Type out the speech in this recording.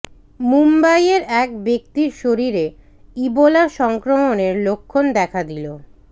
মুম্বইয়ের এক ব্যক্তির শরীরে ইবোলা সংক্রমণের লক্ষণ দেখা দিল